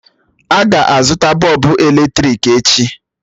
A ga-azụta bọlbụ èlétị̀ik echi?